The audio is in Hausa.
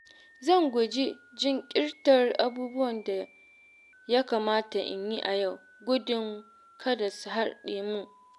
Zan guji jinkirta abubuwan da ya kamata in yi a yau gudun kada su haɗe mun.